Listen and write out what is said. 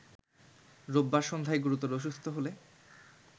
রোববার সন্ধ্যায় গুরুতর অসুস্থ হলে